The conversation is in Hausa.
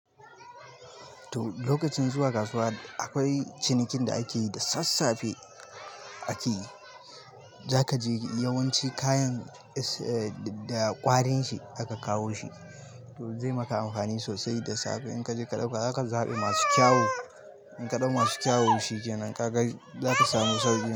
To lokacin zuwa kasuwa akwai cinikin da akeyi da sassafe. Zaka je yawanci kayan da ƙwarin shi aka kawo shi, to zai maka amfani sosai da safe in kaje ka ɗauka. Zaka zaɓi masu kyau, in ka ɗau masu kyawo shikenan ka gais zaka samu sarari.